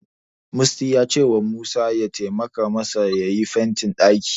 Musty ya cewa Musa ya taimaka masa yayi fentin ɗakin.